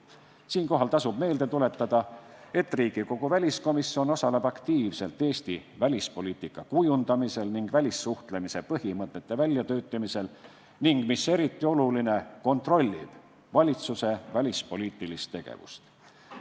Siinkohal tasub meelde tuletada, et Riigikogu väliskomisjon osaleb aktiivselt Eesti välispoliitika kujundamisel ning välissuhtlemise põhimõtete väljatöötamisel ning – mis eriti oluline – kontrollib valitsuse välispoliitilist tegevust.